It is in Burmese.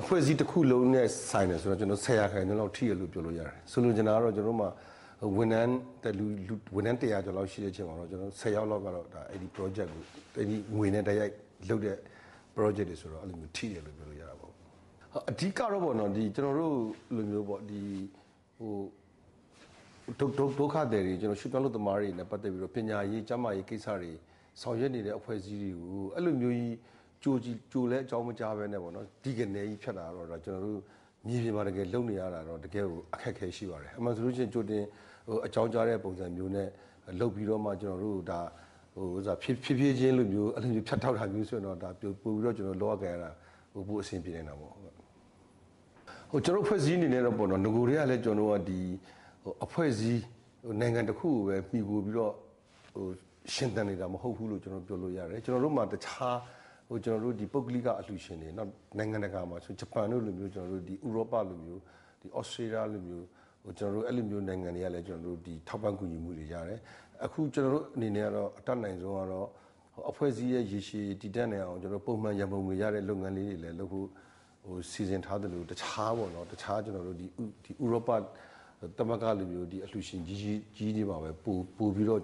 အဖွဲ့အစည်းတခုလုံးနဲ့ဆိုင်တယ်ဆိုတော့ ၁၀ % လောက် ထိတယ်လို့ ပြောလို့ရတယ်။ ဆိုလိုချင်တာက ဝန်ထမ်း ၁၀၀ ကျော်လောက်မှာ ဆယ်ယောက်လောက်က ဝန်ထမ်း တိုက်ရိုက်လုပ်တဲ့ပရောဂျက်တွေဆိုတော့ ထိတယ်လို့ ပြောလို့ရတာပေါ့။ အဓိက,ကတော့ ဒုက္ခသည်တွေ၊ ရွှေ့ပြောင်းအလုပ်သမားတွေနဲ့ပတ်သက်ပြီးတော့ ပညာရေး၊ ကျန်းမာရေးဆောင်ရွက်နေတဲ့အဖွဲ့အစည်းတွေကို အဲလိုမျိုးကြီး ကြိုလည်းအကြောင်းမကြားဘဲနဲ့ ‘တိ’ကနဲ ဖြတ်တော့ ကျနော်တို့ မြေပြင်မှာလုပ်နေရတာတော့ တကယ်ကိုအခက်အခဲရှိပါတယ်။ အမှန်ဆိုလို့ရှိရင် ကြိုတင်အကြောင်းကြားတဲ့ပုံစံမျိုးနဲ့ ဖြည်းဖြည်းချင်းလိုမျိုး ဖြတ်တောက်တာမျိုးဆိုရင်တော့ ပိုပြီးတော့ လုပ်ရကိုင်ရတာ ပိုအဆင်ပြေနိုင်တာပေါ့။ ကျနော်တို့အဖွဲ့အစည်းအနေနဲ့ကတော့ နဂိုကတည်းကလည်းပဲ နိုင်ငံတခုကိုမှီခိုပြီးတော့ ရှင်သန်နေတာမဟုတ်ဘူးလို့ ကျနော်တို့ပြောလို့ရတယ်။ ကျနော်တို့မှာ တခြား ပုဂ္ဂလိကအလှူရှင်တွေ ဂျပန်တို့လိုမျိုး နိုင်ငံတကာအလှူရှင်တွေ၊ ဥရောပလိုမျိုး၊ သြစတြေးလျလိုမျိုး အဲလိုနိုင်ငံတွေဆီကလည်း ထောက်ပံ့ကူညီမှုတွေရတယ်။ အခု ကျနော်တို့အနေနဲ့အတတ်နိုင်ဆုံးကတော့ အဖွဲ့အစည်းရဲ့ရေရှည်တည်တံ့နိုင်အောင် ပုံမှန်ရံပုံငွေရတဲ့လုပ်ငန်းတွေလည်း လုပ်ဖို့ စီစဥ်ထားသလို တခြား ဥရောပသမဂ္ဂလိုမျိုး အလှူရှင်ကြီးတွေမှာပဲ ပိုပြီးတော့